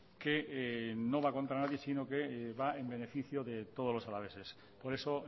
que no va contra nadie sino que va en beneficio de todos los alaveses por eso